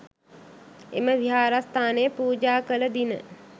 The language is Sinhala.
එම විහාරස්ථානය පූජා කළ දින